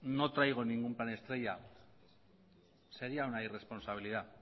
no traigo ningún plan estrella sería una irresponsabilidad